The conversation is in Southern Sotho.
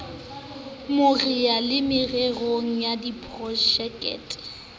mareo le mererong ya diprojekte